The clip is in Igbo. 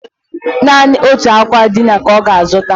Naanị otu akwa ndina ka ọ ga-azụta